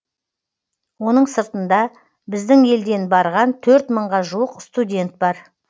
оның сыртында біздің елден барған төрт мыңға жуық студент бар